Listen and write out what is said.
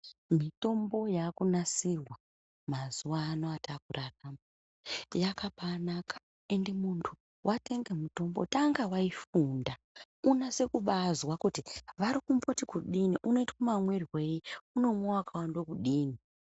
Mitombo yaakunasirwa mazuwaano atakura anaya, yakabaanaka, ende muntu watenge mitombo, tanga waifunda unase kubaazwa kuti vari kumboti kudini, unoita mamwirwei, unomwiwa wakawande kudini .